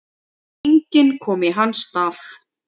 Enginn komi í hans stað.